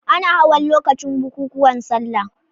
Ana hawan lokacin bukukuwan salla.